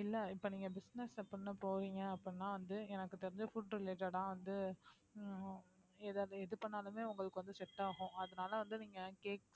இல்ல இப்போ நீங்க business பண்ண போவீங்க அப்பிடினா வந்து எனக்கு தெரிஞ்சு food related ஆ வந்து ஹம் ஏதாவது எது பண்ணாலுமே உங்களுக்கு வந்து set ஆகும் அதனால வந்து நீங்க cakes